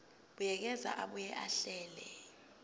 buyekeza abuye ahlele